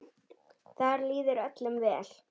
Þar líður öllum vel.